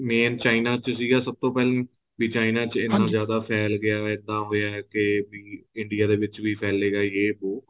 main china ਚ ਸੀਗਾ ਸਬ ਤੋਂ ਪਹਿਲਾਂ ਵੀ china ਚ ਇਹਨਾਂ ਜਿਆਦਾ ਫੈਲ ਗਿਆ ਏਦਾ ਹੋਇਆ ਕੇ ਵੀ ਇੰਡੀਆਂ ਦੇ ਵਿੱਚ ਫੈਲੇਗਾ ਯੇ ਵੋ